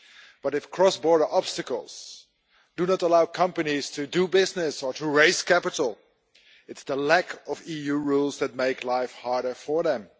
But if cross border obstacles do not allow companies to do business or to raise capital, it is the lack of EU rules that makes life harder for them.